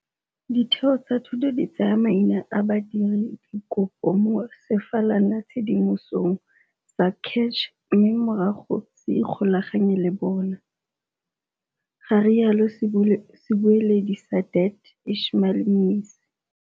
Ditheo tsa thuto di tsaya maina a badiradikopo mo sefalanatshedimosong sa CACH mme morago se ikgolaganye le bona, ga rialo sebueledi sa DHET Ishmael Mnisi.